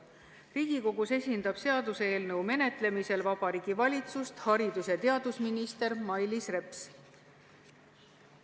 Riigikogus esindab seaduseelnõu menetlemisel Vabariigi Valitsust haridus- ja teadusminister Mailis Reps.